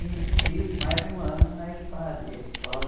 E fiz mais um ano na SPAD, a escola...